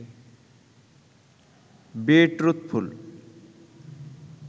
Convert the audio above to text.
B truthful